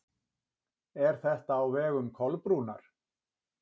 Er þetta á vegum Kolbrúnar?